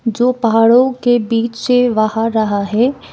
जो पहाड़ों के बीच से बह रहा है।